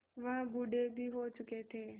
वह बूढ़े भी हो चुके थे